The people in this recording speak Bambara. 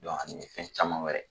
Dɔn ani fɛn caman wɛrɛ